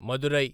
Madurai